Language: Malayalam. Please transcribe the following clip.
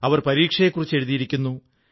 അവർ പരീക്ഷയെക്കുറിച്ച് എഴുതിയിരിക്കുന്നു